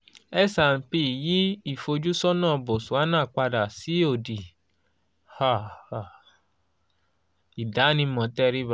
s and p yí ìfojúsọ́nà botswana padà sí òdì ìdánimọ̀ tẹríba